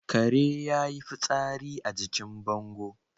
Kare yayi fitsari a jikin bango